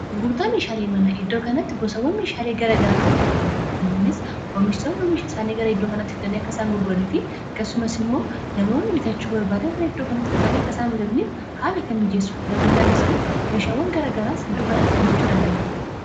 gurgurtaa meeshaalii mana iddoo kanatti gosawwan meeshaalii gara garaatu gurguramma kunis oomistonni misha isaanii gara iddoo kanatti fdannii akkasaan gurguranii fi kasumas immoo namonni bitachuu barbaadan gara iddoo kanatti dhuufani akkaisaan imtataniif haala kan miijeessu dadabarataanis immoo meeshaawwan gara garaas iddoo kanatti argachuu danda'inn